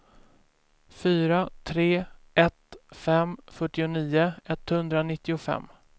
fyra tre ett fem fyrtionio etthundranittiofem